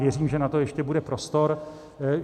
Věřím, že na to ještě bude prostor.